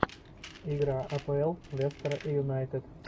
игра апл лестера и юнайтед